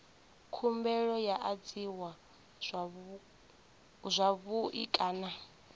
khumbelo yo adziwa zwavhui kana